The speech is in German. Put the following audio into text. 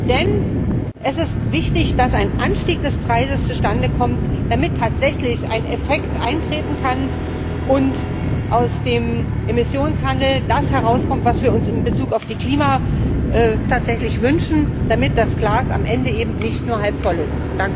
Denn es ist wichtig, dass ein Anstieg des Preises zustande kommt, damit tatsächlich ein Effekt eintreten kann und aus dem Emissionshandel das herauskommt, was wir uns in Bezug auf die Klimaziele auch tatsächlich wünschen, damit das Glas am Ende eben nicht nur halb voll ist.